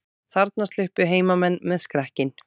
Þarna sluppu heimamenn með skrekkinn